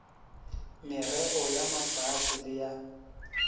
merreo ya mafase le ya